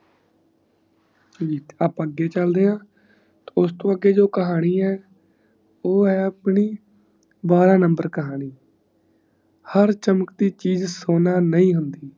ਅੱਪਾ ਅਗੇ ਚਲਦੇ ਆ ਉਸਤੋਂ ਅਗੇ ਜੋ ਕਹਾਣੀ ਹੈ ਉਹ ਏ ਹੈ ਆਪਣੀ ਬੜਾ ਵਰਾਹ ਨੰਬਰ ਕਹਾਣੀ ਹਰ ਚਮਕਤੀ ਚੀਜ਼ ਸੋਨਾ ਨਹੀਂ ਹੁੰਦੀ